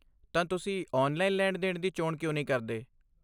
ਤਾਂ, ਤੁਸੀਂ ਔਨਲਾਈਨ ਲੈਣ ਦੇਣ ਦੀ ਚੋਣ ਕਿਉਂ ਨਹੀਂ ਕਰਦੇ ?